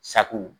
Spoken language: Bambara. Sako